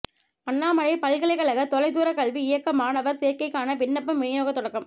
அண்ணாமலைப் பல்கலைக்கழக தொலைதூரக்கல்வி இயக்கக மாணவர் சேர்க்கைக்கான விண்ணப்பம் விநியோகத் தொடக்கம்